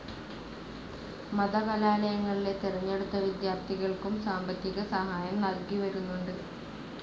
മത കലാലയങ്ങളിലെ തെരഞ്ഞടുത്ത വിദ്യാർത്ഥികൾക്കും സാമ്പത്തിക സഹായം നൽകിവരുന്നുണ്ട്.